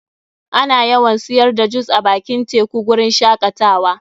Ana yawan siyar da jus a bakin teku guri n shakatawa.